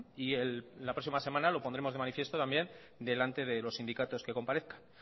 y la próxima semana lo pondremos de manifiesto también delante de los sindicatos que comparezcan